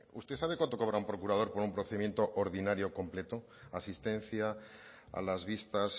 usted sabe cuánto cobra un procurador por un procedimiento ordinario completo asistencia a las vistas